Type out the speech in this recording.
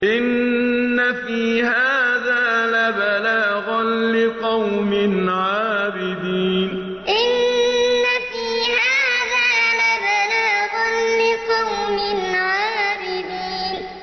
إِنَّ فِي هَٰذَا لَبَلَاغًا لِّقَوْمٍ عَابِدِينَ إِنَّ فِي هَٰذَا لَبَلَاغًا لِّقَوْمٍ عَابِدِينَ